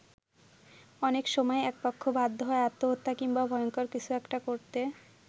অনেক সময় একপক্ষ বাধ্য হয় আত্মহত্যা কিংবা ভয়ঙ্কর কিছু একটা করতে।